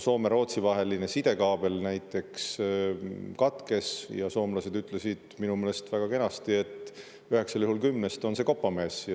Soome-Rootsi vaheline sidekaabel näiteks katkes, ja soomlased ütlesid minu meelest väga kenasti, et üheksal juhul kümnest on kopamees.